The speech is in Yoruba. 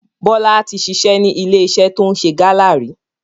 Bọlá tí ṣiṣẹ́ ni ilé iṣẹ́ to ń ṣe Gala ríi.